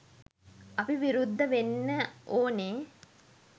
අපි විරුද්ධ වෙන්න ඕනේ.